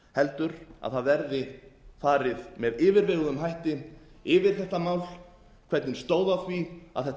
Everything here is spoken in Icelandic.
heldur að það verði farið með yfirveguðum hætti yfir þetta mál hvernig stóð á því að þetta